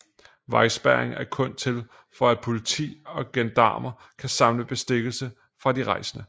Vejspærring er kun til for at politi og gendarmer kan samle bestikkelse fra de rejsende